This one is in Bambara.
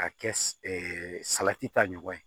K'a kɛ salati ta ɲɔgɔn ye